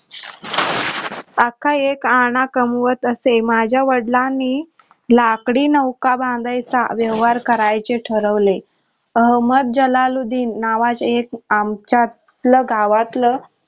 अख्खा एक आणा कमवत असे माझ्या वडीलांनी लाकडी नौका बांधायचा व्यवहार करायचे ठरवले अहमह जलाल्लुद्धीन नावच एक आमच्यातलं गावतलं